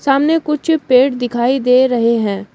सामने कुछ पेड़ दिखाई दे रहे हैं।